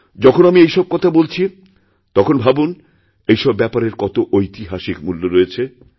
যখন আমি এই সব কথা বলছি তখন ভাবুন এইসব ব্যাপারের কতঐতিহাসিক মূল্য রয়েছে